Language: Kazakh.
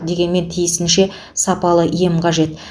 дегенмен тиісінше сапалы ем қажет